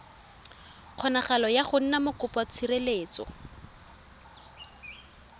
kgonagalo ya go nna mokopatshireletso